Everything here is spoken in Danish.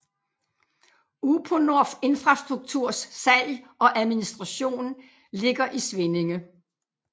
Uponor Infrastrukturs salg og administration ligger i Svinninge